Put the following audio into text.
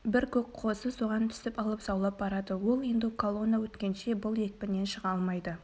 бір көк қозы соған түсіп алып заулап барады ол енді колонна өткенше бұл екпіннен шыға алмайды